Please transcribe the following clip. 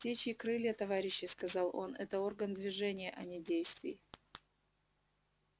птичьи крылья товарищи сказал он это орган движения а не действий